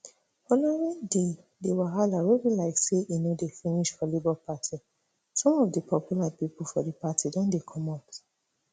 following di di wahala wey be like say e no dey finish for labour party some of di popular pipo for di party don dey comot